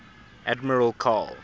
admiral karl